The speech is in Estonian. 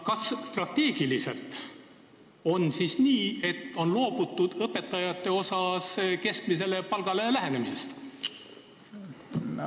Kas strateegiliselt on nii, et on loobutud õpetajate palga keskmisele palgale lähendamisest?